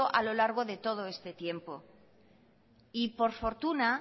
a lo largo de todo este tiempo y por fortuna